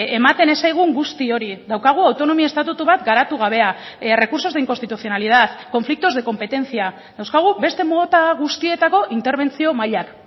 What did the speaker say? ematen ez zaigun guzti hori daukagu autonomia estatutu bat garatu gabea recursos de inconstitucionalidad conflictos de competencia dauzkagu beste mota guztietako interbentzio mailak